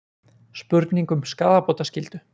Spurning um skaðabótaskyldu